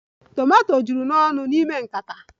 Tomato juru n'ọnụ n'ime nkata